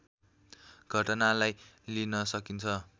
घटनालाई लिन सकिन्छ